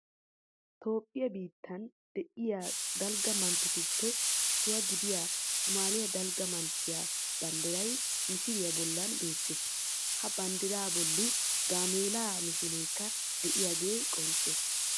Toophphiya biitteen de'iya dalgga manttetuppe issuwa gidiya somaaliya dalgga manttiya banddiray misiliya bollan beettees. Ha banddiray bolli gaameelaa misileekka de'iyogee qoncce